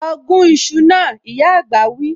Lọ gún iṣu náà, ìyá àgbà wí